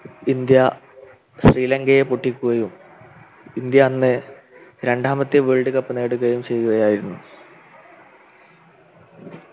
India ശ്രീലങ്കയെ പൊട്ടിക്കുകയും India അന്ന് രണ്ടാമത്തെ Worldcup നേടുകയും ചെയ്യുകയായിരുന്നു